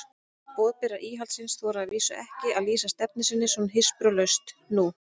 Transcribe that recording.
Boðberar íhaldsins þora að vísu ekki að lýsa stefnu sinni svona hispurslaust nú.